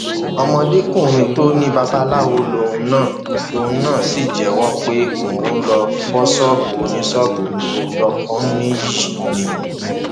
ọmọdékùnrin tó ní babaláwo lòun náà lòun náà sì jẹwọ pé òun lóo fọ ṣọọbù oníṣọọbù ní gbọkọnìyí ni